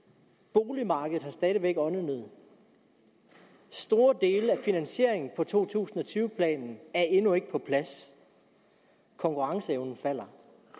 boligmarkedet har stadig væk åndenød store dele af finansieringen i to tusind og tyve planen er endnu ikke på plads konkurrenceevnen falder